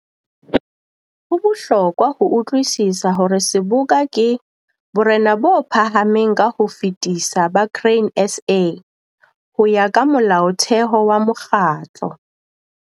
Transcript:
Ho bohlokwa ho utlwisisa hore seboka ke borena bo phahameng ka ho fetisisa ba Grain SA, ho ya ka molaotheho wa mokgatlo.